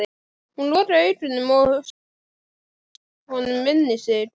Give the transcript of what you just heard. Hún lokaði augunum og stýrði honum inn í sig.